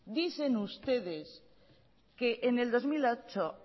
dicen ustedes que en el dos mil ocho